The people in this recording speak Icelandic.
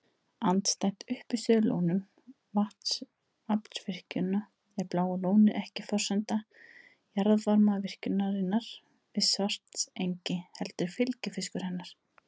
Andstætt uppistöðulónum vatnsaflsvirkjana er Bláa lónið ekki forsenda jarðvarmavirkjunarinnar við Svartsengi heldur fylgifiskur hennar.